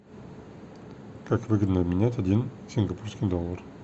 как выгодно обменять один сингапурский доллар